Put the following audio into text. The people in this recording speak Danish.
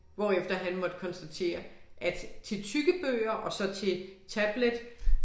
Hvorefter han måtte konstatere at til tykke bøger og så til tablet